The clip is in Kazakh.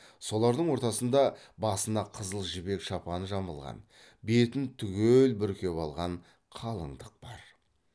солардың ортасында басына қызыл жібек шапан жамылған бетін түгел бүркеп алған қалыңдық бар